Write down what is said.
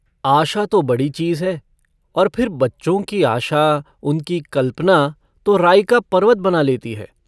आशा तो बड़ी चीज है और फिर बच्चों की आशा उनकी कल्पना तो राई का पर्वत बना लेती है।